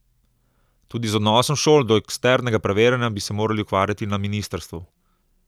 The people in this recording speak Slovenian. Tudi z odnosom šol do eksternega preverjanja bi se morali ukvarjati na ministrstvu.